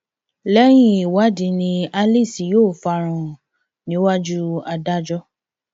lẹyìn ìwádìí ni alice yóò fara hàn níwájú adájọ